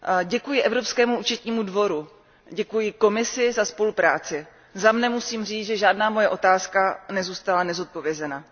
Děkuji Evropskému účetnímu dvoru, děkuji Komisi za spolupráci, za mne musím říci, že žádná moje otázka nezůstala nezodpovězena.